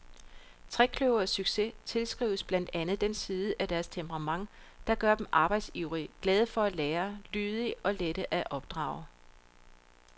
Trekløverets succes tilskrives blandt andet den side af deres temperament, der gør dem arbejdsivrige, glade for at lære, lydige og lette at opdrage.